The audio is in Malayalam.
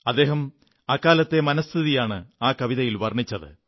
അദ്ദേഹം അക്കാലത്തെ മനഃസ്ഥിതിയാണ് ആ കവിതയിൽ വർണ്ണിച്ചത്